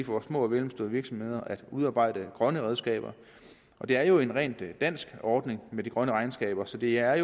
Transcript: vores små og mellemstore virksomheder at udarbejde grønne regnskaber det er jo en rent dansk ordning med de grønne regnskaber så det er